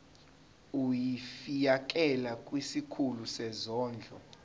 ulifiakela kwisikulu sezondlo